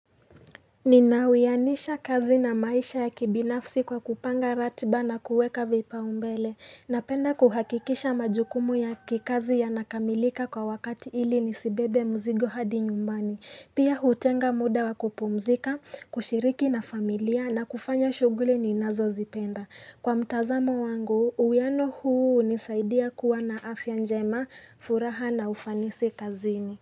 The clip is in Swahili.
Nina uyanisha kazi na maisha ya kibinafsi kwa kupanga ratiba na kuweka vipaumbele Napenda kuhakikisha majukumu ya kikazi ya nakamilika kwa wakati ili nisibebe mzigo hadi nyumbani Pia hutenga muda wa kupomzika, kushiriki na familia na kufanya shughuli ni nazo zipenda Kwa mtazamo wangu, uyano huu hunisaidia kuwa na afya njema, furaha na ufanisi kazini.